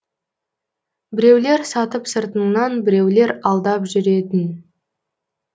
біреулер сатып сыртыңнан біреулер алдап жүретін